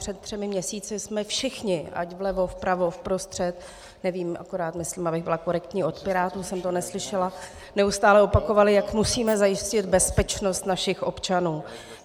Před třemi měsíci jsme všichni, ať vlevo, vpravo, vprostřed, nevím, akorát myslím, abych byla korektní, od Pirátů jsem to neslyšela, neustále opakovali, jak musíme zajistit bezpečnost našich občanů.